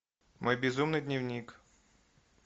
мой безумный дневник